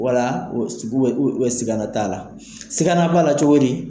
Ola sigana t'ala, sigana b'a la cogo di.